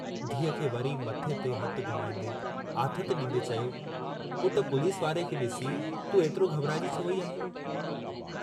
धीअ खे वरी मथे ते हथु घुमाईंदे आथतु डींदे चयो, पुट पुलिस वारे खे डिसी तूं एतिरो घबराइजी छो वेई आहीं।